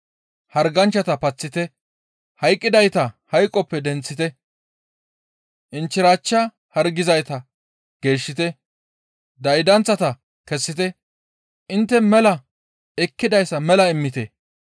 Harganchchata paththite, hayqqidayta hayqoppe denththite, inchchirachcha hargizayta geeshshite; daydanththata kessite; intte mela ekkidayssa mela immite;